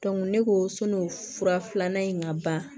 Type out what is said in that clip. ne ko sɔn'o fura filanan in ka ban